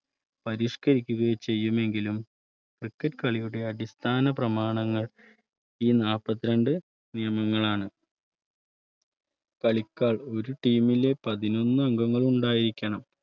പരിഷ്കരിക്കുകയോ ചെയ്യുമെങ്കിലും cricket കളിയുടെ അടിസ്ഥാന പ്രമാണങ്ങൾ ഈ നാല്പത്തിരണ്ട്‍ നിയമങ്ങളാണ് കളിക്കാൻ ഒരു Team ൽ അംഗങ്ങൾ ഉണ്ടായിരിക്കണം